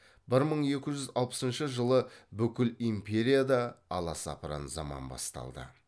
бір мың екі жүз алпысыншы жылы бүкіл империяда аласапыран заман басталды